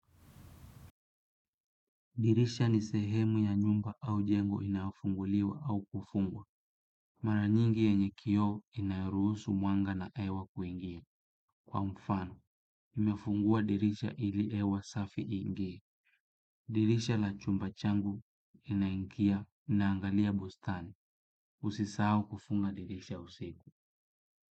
Dirisha ni sehemu ya nyumba au jengo inayofunguliwa au kufungwa. Mara nyingi yenye kioo inayoruhusu mwanga na hewa kuingia. Kwa mfano, nimefungua dirisha ili hewa safi iingie. Dirisha la chumba changu inaingia inaangalia bustani. Usisahau kufunga dirisha usiku.